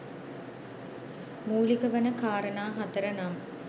මූලික වන කාරණා 4 නම්